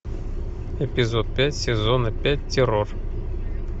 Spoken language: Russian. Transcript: эпизод пять сезона пять террор